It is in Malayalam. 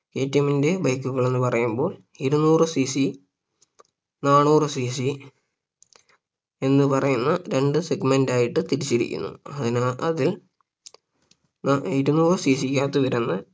KTM ന്റെ Bike കൾ എന്ന് പറയുമ്പോൾ ഇരുനൂറ് CC നാനൂറ് CC എന്ന് പറയുന്ന രണ്ട് Segment ആയിട്ട് തിരിച്ചിരിക്കുന്നു അതിൽ നാ ഇരുനൂറ് CC കകത്ത് വരുന്ന